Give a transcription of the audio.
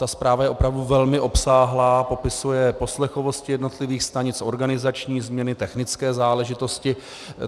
Ta zpráva je opravdu velmi obsáhlá, popisuje poslechovosti jednotlivých stanic, organizační změny, technické záležitosti.